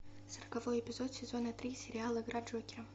сороковой эпизод сезона три сериал игра джокера